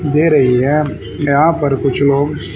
दे रही है यहां पर कुछ लोग--